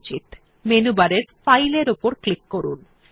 এই ফাইলটি সেভ করার জন্য মেনু বারে ফাইল এর উপর ক্লিক করুন